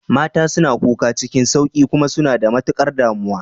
Mata suna kuka cikin sauƙi kuma suna da matukar damuwa.